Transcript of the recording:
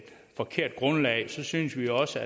forkert grundlag så synes vi også